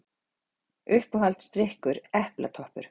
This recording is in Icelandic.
Uppáhalds drykkur: epla toppur